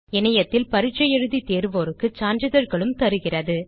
இணையத்தில் பரீட்சை எழுதி தேர்வோருக்கு சான்றிதழ்களும் தருகிறது